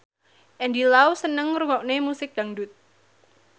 Andy Lau seneng ngrungokne musik dangdut